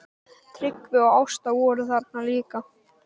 Tryggvi og Ásta voru þarna líka.